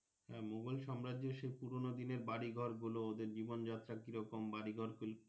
মোঘল সাম্রাজ্য সেই পুরোনো দিনের বাড়ি ঘর গুলো ওদের জীবন যাত্রা কিরকম বাড়ি ঘর কি।